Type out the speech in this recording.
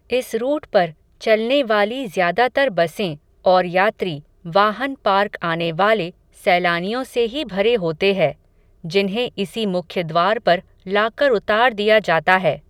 इस रूट पर, चलने वाली ज़्यादातर बसें, और यात्री, वाहन पार्क आने वाले, सैलानियों से ही भरे होते है, जिन्हे इसी मुख्यद्वार पर लाकर उतार दिया जाता है